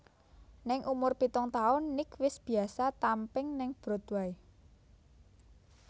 Ning umur pitung taun Nick wis biasa tamping ning Broadway